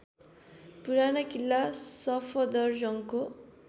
पुराना किल्ला सफदरजंगको